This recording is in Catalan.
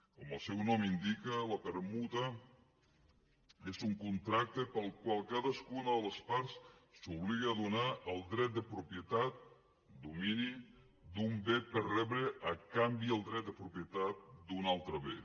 com el seu nom indica la permuta és un contracte pel qual cadascuna de les parts s’obliga a donar el dret de propietat domini d’un bé per rebre a canvi el dret de propietat d’un altre bé